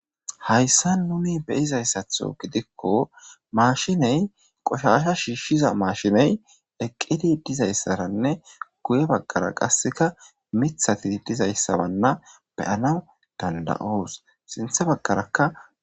hayssa nuni beyizayssatho gidikko maashiney qoshasha shiishshiza maashiney eqqidi dizayssaranne guye baggara qasseka mithati dizayssawanna beyana danda7oos sinthe baggarakka